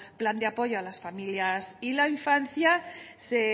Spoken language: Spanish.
plan de apoyo a las familias y la infancia se